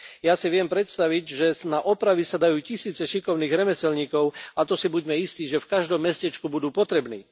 Ja si viem predstaviť, že na opravy sa dajú tisíce šikovných remeselníkov, a to si buďme istí, že v každom mestečku budú potrební.